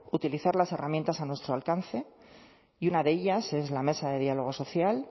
utilizar las herramientas a nuestro alcance y una de ellas es la mesa de diálogo social